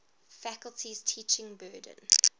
faculty's teaching burden